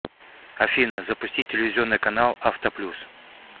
афина запустить телевизионный канал авто плюс